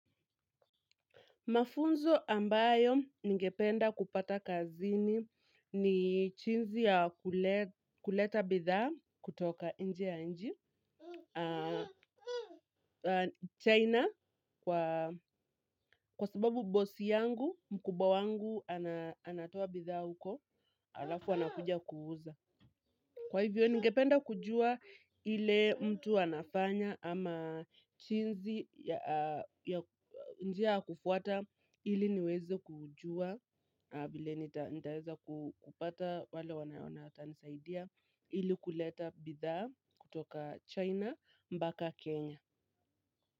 Mafunzo ambayo ningependa kupata kazini ni jinsi ya kuleta bidhaa kutoka nje ya nchi. China, kwa sababu bosi yangu, mkubwa wangu anatoa bidhaa huko, alafu anakuja kuuza. Kwa hivyo, ningependa kujua ile mtu anafanya ama jinsi ya njia ya kufuata ili niweze kujua. Vile nitaweza kupata wale wanaona ata nisaidia ili kuleta bidhaa kutoka china mbaka kenya.